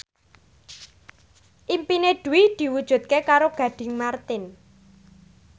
impine Dwi diwujudke karo Gading Marten